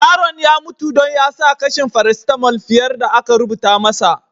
Yaron ya mutu dan ya sa kashin parasitamul fiyar da aka rubuta masa.